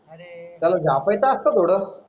त्याला झापाईचा असतं थोडं.